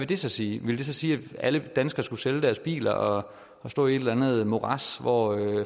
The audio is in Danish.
det så sige vil det så sige at alle danskere skulle sælge deres bil og stå i et eller andet morads hvor